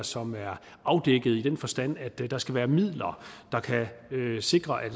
som er afdækket i den forstand at der skal være midler der kan sikre at